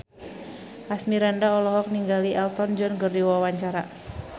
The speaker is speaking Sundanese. Asmirandah olohok ningali Elton John keur diwawancara